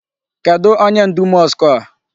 Kedụ onye ndu mosque a?